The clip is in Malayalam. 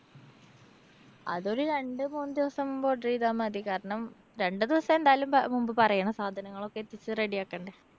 അതൊരു രണ്ട് മൂന്ന് ദിവസം മുമ്പ് order ചെയ്താ മതി. കാരണം രണ്ട് ദിവസം എന്തായാലും മുമ്പ് പറയണം. സാധനങ്ങളൊക്കെ എത്തിച്ച് ready ആക്കണ്ടേ?